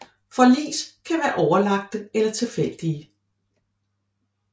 Forlis kan være overlagte eller tilfældige